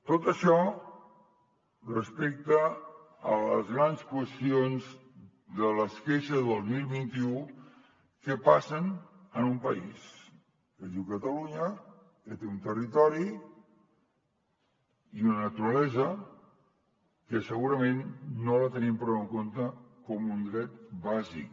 tot això respecte a les grans qüestions de les queixes de dos mil vint u que passen en un país que es diu catalunya que té un territori i una naturalesa que segurament no els tenim prou en compte com un dret bàsic